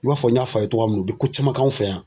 I b'a fɔ n y'a fɔ a ye cogoya min na u bɛ ko caman fɛ yan.